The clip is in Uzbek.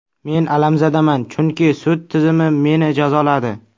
Men alamzadaman, chunki sud tizimi meni jazoladi.